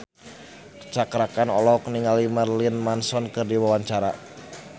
Cakra Khan olohok ningali Marilyn Manson keur diwawancara